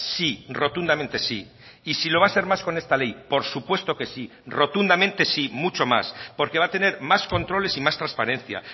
sí rotundamente sí y si lo va a ser más con esta ley por supuesto que sí rotundamente sí mucho más porque va a tener más controles y más transparencia